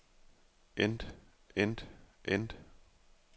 end end end